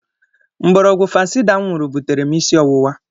Mkpụrụọgwụ Fancida m nwụrụ butere m isi ọwụwa.